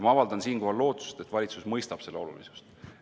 Ma avaldan siinkohal lootust, et valitsus mõistab selle olulisust.